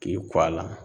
K'i ku a la